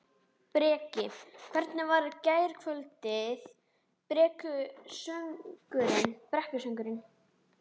Breki: Hvernig var gærkvöldið, brekkusöngurinn?